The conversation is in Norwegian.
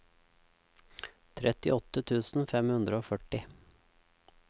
trettiåtte tusen fem hundre og førti